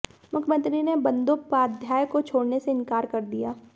मुख्यमंत्री ने बंदोपाध्याय को छोडऩे से इंकार कर दिया